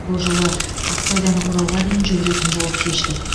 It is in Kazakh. бұл жолы ақсайдан оралға дейін жүгіретін болып шештік